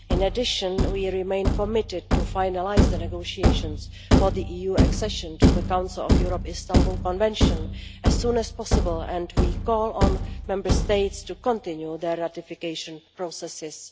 In addition, we remain committed to finalising the negotiations for the EU accession to the Council of Europe Istanbul Convention as soon as possible, and we call on Member States to continue their ratification processes.